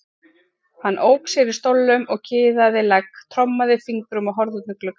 Hann ók sér í stólnum og kiðaði legg, trommaði fingrum og horfði út um gluggann.